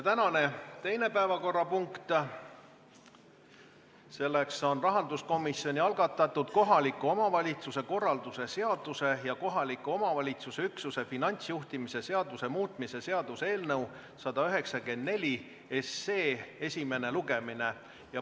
Tänane teine päevakorrapunkt: rahanduskomisjoni algatatud kohaliku omavalitsuse korralduse seaduse ja kohaliku omavalitsuse üksuse finantsjuhtimise seaduse muutmise seaduse eelnõu 194 esimene lugemine.